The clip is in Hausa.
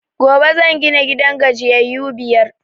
Gobe zan gina gidan gajiyayu biyar